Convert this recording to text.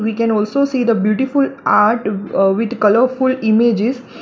We can also see the beautiful art uh with colourful images.